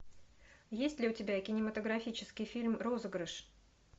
есть ли у тебя кинематографический фильм розыгрыш